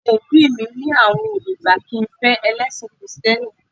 Àwọn òbí mi ni àwọn ò lè gbà kí n fẹ́ ẹlẹ́sìn kìrìtẹ́nì